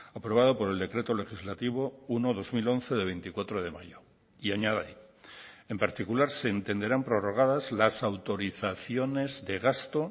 aprobado por el decreto legislativo uno barra dos mil once de veinticuatro de mayo y añade en particular se entenderán prorrogadas las autorizaciones de gasto